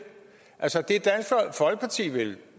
altså